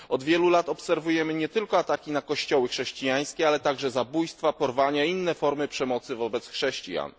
Od wielu lat obserwujemy nie tylko ataki na kościoły chrześcijańskie, ale także zabójstwa, porwania i inne formy przemocy wobec chrześcijan.